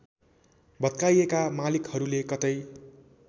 भत्काइएका मालिकहरूले कतै